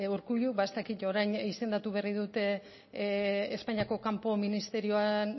urkullu ba ez dakit orain izendatu berri dute espainiako kanpo ministerioan